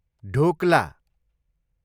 dhokla